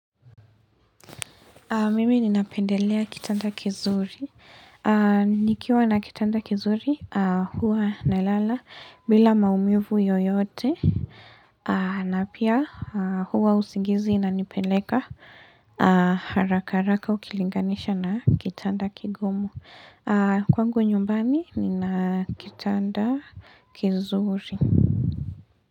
Mimi ninapendelea kitanda kizuri. Nikiwa na kitanda kizuri, huwa na lala bila maumivu yoyote. Na pia huwa usingizi inanipeleka haraka haraka ukilinganisha na kitanda kigumu. Kwangu nyumbani nina kitanda kizuri.